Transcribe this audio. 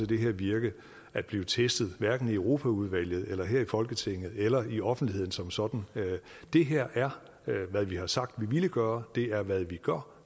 det her virke at blive testet hverken i europaudvalget eller her i folketinget eller i offentligheden som sådan det her er hvad vi har sagt vi ville gøre det er hvad vi gør